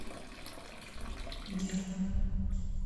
герман